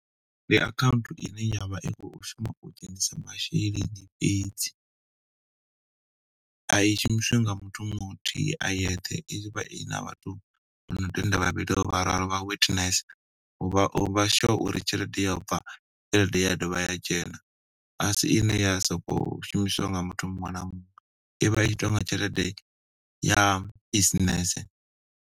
Ndi akhaunthu ine yavha i khou shuma u dzhenisa masheleni fhedzi. A i shumisiwi nga muthu muthihi a yeṱhe, i vha i na vhathu vha no tenda vhavhili or vhararu vha witness. Uvha uvha sure uri tshelede yo bva, tshelede ya dovha ya dzhena, asi ine ya soko shumiswa nga muthu muṅwe na muṅwe. I vha i tshi tonga tshelede ya business.